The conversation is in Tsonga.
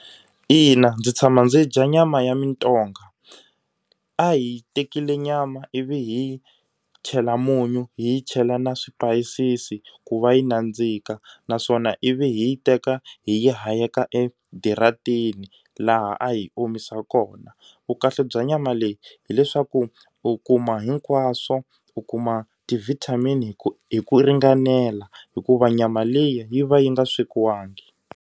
Ina ndzi tshama ndzi dya nyama ya mintong. A hi tekile nyama ivi hi chela munyu hi chela na swipayisisi ku va yi nandzika naswona ivi hi yi teka hi hayeka ediratini laha a hi yi omisa kona. Vukahle bya nyama leyi hileswaku u kuma hinkwaswo u kuma ti-vitamin hi ku hi ku ringanela hikuva nyama leyi yi va yi nga swekiwangi.